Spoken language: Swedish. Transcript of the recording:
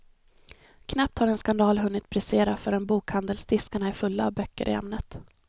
Knappt har en skandal hunnit brisera förrän bokhandelsdiskarna är fulla av böcker i ämnet.